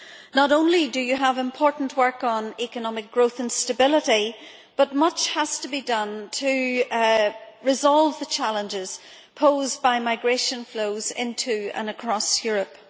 Not only do you have important work on economic growth and stability, but much has to be done to resolve the challenges posed by migration flows into and across Europe.